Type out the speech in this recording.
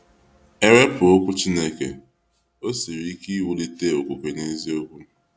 Ewepụ okwu Chineke, o siri ike iwulite okwukwe n’eziokwu.